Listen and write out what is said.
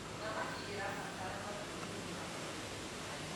thamakĩ irabatara mathiururuka matheru